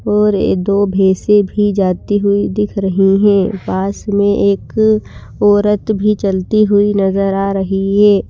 और दो भेसें भी जाती हुई दिख रही हैं पास में एक औरत भी चलती हुई नजर आ रही है।